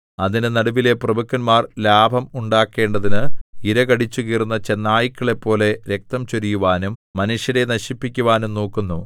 അതിന്റെ നടുവിലെ പ്രഭുക്കന്മാർ ലാഭം ഉണ്ടാക്കേണ്ടതിന് ഇര കടിച്ചുകീറുന്ന ചെന്നായ്ക്കളെപ്പോലെ രക്തം ചൊരിയുവാനും മനുഷ്യരെ നശിപ്പിക്കുവാനും നോക്കുന്നു